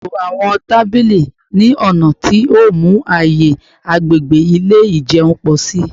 Ṣeto awọn tabili ni ọna ti o mu aaye agbegbe ile ijeun pọ si